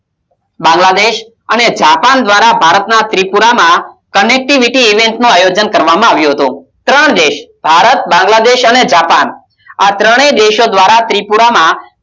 બાંગલાદેશ અને જાપાન દ્વારા ભારત ના ત્રિપુરામાં connectivity event નું આયોજન કરવામાં આવ્યું હતું ત્રણ દેશ ભારત બાંગલાદેશ અને જાપાન આ ત્રણેય દેશો દ્વારા ત્રિપુરામાં